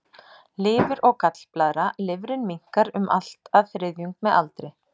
Lifur og gallblaðra Lifrin minnkar um allt að þriðjung með aldri.